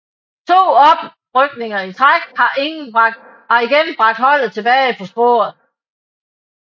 To oprykninger i træk har igen bragt holdet tilbage på sporet